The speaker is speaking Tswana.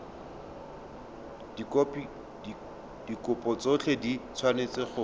dikopo tsotlhe di tshwanetse go